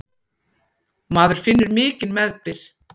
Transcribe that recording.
Maður finnur mikinn meðbyr.